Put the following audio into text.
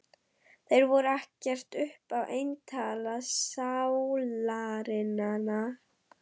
Þeir voru ekkert upp á eintal sálarinnar.